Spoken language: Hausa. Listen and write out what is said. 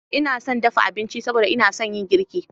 Ina son dafa abinci saboda ina son yin girki.